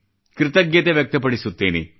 ಕೃತಜ್ಞತೆ ವ್ಯಕ್ತ ಪಡಿಸುತ್ತೇನೆ